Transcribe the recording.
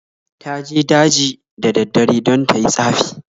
Ta je daji da daddare don ta yi tsafi.